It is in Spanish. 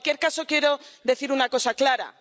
En cualquier caso, quiero decir una cosa clara.